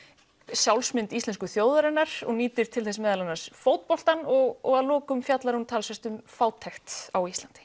sjálfsmynd íslensku þjóðarinnar og nýtir til þess meðal annars fótboltann og og að lokum fjallar hún talsvert um fátækt á Íslandi